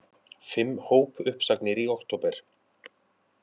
Fimm hópuppsagnir í október